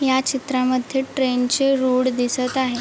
ह्या चित्रामध्ये ट्रेन चे रोड दिसत आहे.